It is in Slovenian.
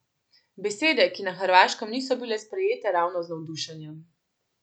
Besede, ki na Hrvaškem niso bile sprejete ravno z navdušenjem.